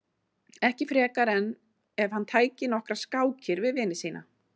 Ekki frekar en ef hann tæki nokkrar skákir við vini sína.